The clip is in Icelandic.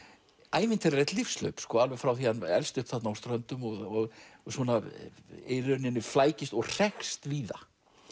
ævintýralegt lífshlaup alveg frá því hann elst upp þarna á Ströndum og svona í rauninni flækist og hrekst víða